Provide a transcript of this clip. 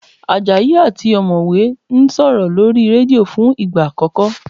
Àjàyí àti ọ̀mọ̀wẹ́ ń sọ̀rọ̀ lórí rédíò fún ìgbà àkọ́kọ́